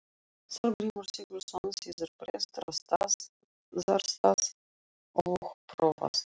Þorgrímur Sigurðsson, síðar prestur á Staðarstað og prófastur.